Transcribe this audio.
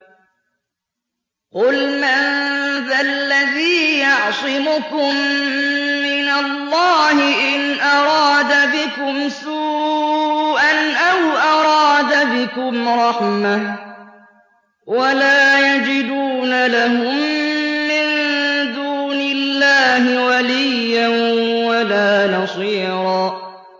قُلْ مَن ذَا الَّذِي يَعْصِمُكُم مِّنَ اللَّهِ إِنْ أَرَادَ بِكُمْ سُوءًا أَوْ أَرَادَ بِكُمْ رَحْمَةً ۚ وَلَا يَجِدُونَ لَهُم مِّن دُونِ اللَّهِ وَلِيًّا وَلَا نَصِيرًا